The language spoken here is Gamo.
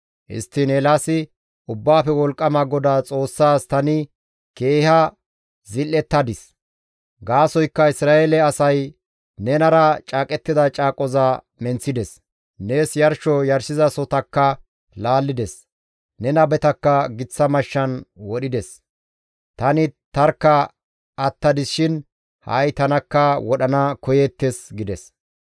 Histtiin Eelaasi, «Ubbaafe Wolqqama GODAA Xoossaas tani keeha zil7ettadis; gaasoykka Isra7eele asay nenara caaqettida caaqoza menththides; nees yarsho yarshizasohotakka laallides; ne nabetakka giththa mashshan wodhides; tani tarkka attadis shin ha7i tanakka wodhana koyeettes» gides.